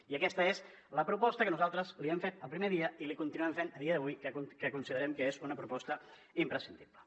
i aquesta és la proposta que nosaltres li hem fet el primer dia i li continuem fent a dia d’avui que considerem que és una proposta imprescindible